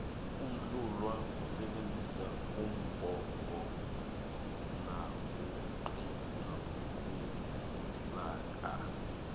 uhlulwa kusebenzisa umbhobho nakaqulako